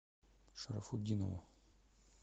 шарафутдинову